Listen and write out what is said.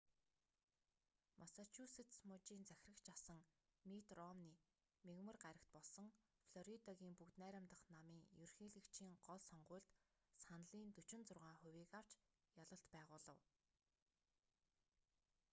массачусетс мужийн захирагч асан митт ромни мягмар гарагт болсон флоридагийн бүгд найрамдах намын ерөнхийлөгчийн гол сонгуульд саналын 46 хувийг авч ялалт байгуулав